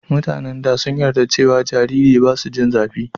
mutanen da sun yarda cewa jariri basu jin zafi